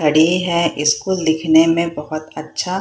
खड़ी है स्कूल दिखने में बहुत अच्छा --